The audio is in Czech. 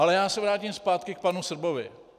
Ale já se vrátím zpátky k panu Srbovi.